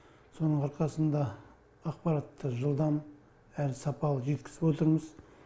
соның арқасында ақпаратты жылдам әрі сапалы жеткізіп отырмыз